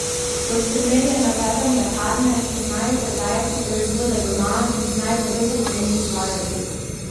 Kot primer je navedel mlekarne, ki znajo prodajati proizvode doma in znajo po dobri ceni izvažati.